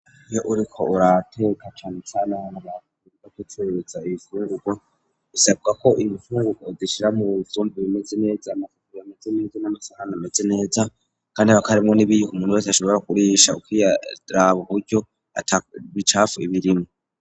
Iyo uriko urateka cane cane aho abantu baza kwihereza ibifungurwa bisabwa ko ibifungurwa ubishira mu vyombo bimeze neza amafufu ameze neza n'amasahani ameze neza kandi hakaba harimwo n'ibiyiko umuntu wese ashobora kurisha ugiye uraraba uburyo ata bicafu birimwo.